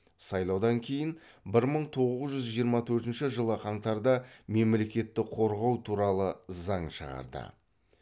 сайлаудан кейін бір мың тоғыз жүз жиырма төртінші жылы қаңтарда мемлекетті қорғау туралы заң шығарды